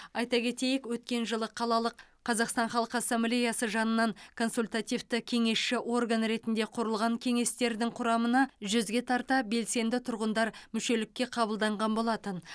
айта кетейік өткен жылы қалалық қазақстан халқы ассамблеясы жанынан консультативті кеңесші орган ретінде құрылған кеңестердің құрамына жүзге тарта белсенді тұрғындар мүшелікке қабылданған болатын